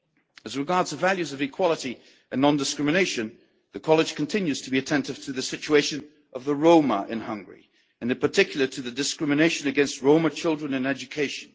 As regards the values of equality and non discrimination, the college continues to be attentive to the situation of the Roma in Hungary and in particular to discrimination against Roma children in education.